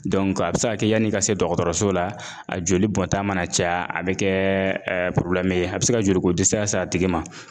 a bɛ se ka kɛ yani i ka se dɔgɔtɔrɔso la, a joli bɔ ta mana caya, a bɛ kɛ ye a bɛ se ka joliko dɛsɛ s'a tigi ma.